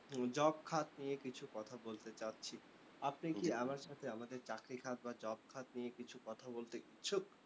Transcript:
job খাত নিয়ে কিছু কথা বলতে চাচ্ছি। আপনি কি আমার সাথে আমাদের চাকরি খাত বা job খাত নিয়ে কিছু কথা বলতে ইচ্ছুক?